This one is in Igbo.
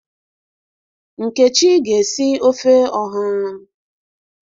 Nkechi ga esi ofe oha.